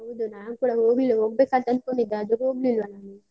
ಹೌದು ನಾನ್ ಕೂಡ ಹೋಗ್ಲಿಲ್ಲ, ಹೋಗ್ಬೇಕಂತ ಅನ್ಕೊಂಡಿದ್ದೆ ಆದ್ರೆ ಹೋಗ್ಲಿಲ್ಲ ನಾನು.